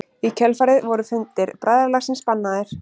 Í kjölfarið voru fundir bræðralagsins bannaðir.